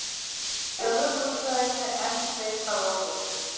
Jólaveðrið á höfuðborgarsvæðinu enn sveipað óvissu